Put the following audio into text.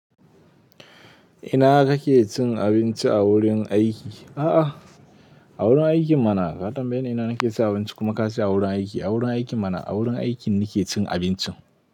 Ina kake cin abinci a wurin aiki? A'a, a wurin aiki mana. Ka tambaye ni ina nake ci abinci, kuma ka ce a wurin aiki. A wurin aiki mana. A wurin aiki nake cin abinci.